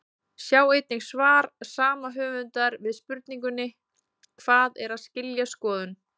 Sjá einnig svar sama höfundar við spurningunni Hvað er að skilja skoðun?